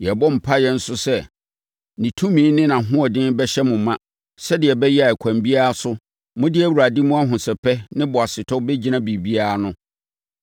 Yɛrebɔ mpaeɛ nso sɛ ne tumi ne nʼahoɔden bɛhyɛ mo ma sɛdeɛ ɛbɛyɛ a ɛkwan biara so, mode Awurade mu ahosɛpɛ ne boasetɔ bɛgyina biribiara ano.